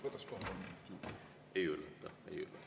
Võtaksin ka kolm minutit juurde.